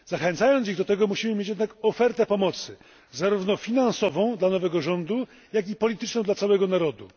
Zachęcając ich do tego, musimy mieć jednak ofertę pomocy zarówno finansową dla nowego rządu, jak i polityczną dla całego narodu.